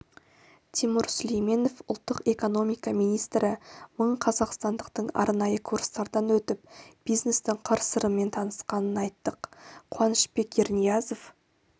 тимур сүлейменов ұлттық экономика министрі мың қазақстандықтың арнайы курстардан өтіп бизнестің қыр-сырымен танысқанын айттық қуанышбек ерниязов